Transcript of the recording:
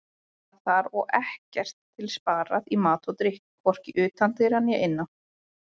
Var þar og ekkert til sparað í mat og drykk, hvorki utan dyra né innan.